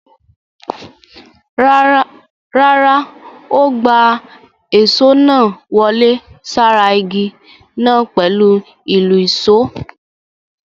Rárá, ó gbá èṣó náà wọlé sára ìgi náà pẹ̀lú ìlùṣó.